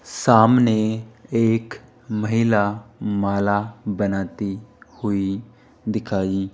सामने एक महिला माला बनाती हुई दिखाई --